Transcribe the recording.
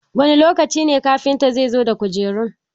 Wani lokaci ne kafinta zai dawo da kujerun?